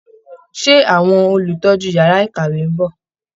Ṣé àwọn olùtọ́jú yàrá ìkàwé ń bọ̀?